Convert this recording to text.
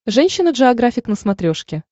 женщина джеографик на смотрешке